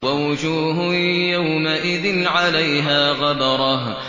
وَوُجُوهٌ يَوْمَئِذٍ عَلَيْهَا غَبَرَةٌ